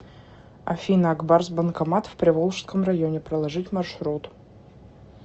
афина ак барс банкомат в приволжском районе проложить маршрут